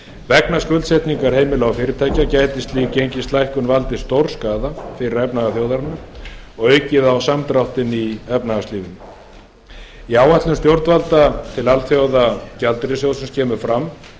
vegna skuldsetningar heimila og fyrirtækja gæti slík gengislækkun valdið stórskaða fyrir efnahag þjóðarinnar og aukið á samdráttinn í efnahagslífinu í áætlun stjórnvalda til alþjóðagjaldeyrissjóðsins kemur fram